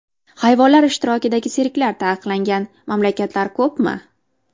Hayvonlar ishtirokidagi sirklar taqiqlangan mamlakatlar ko‘pmi?